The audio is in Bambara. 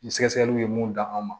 Ni sɛgɛsɛgɛliw ye mun dan an ma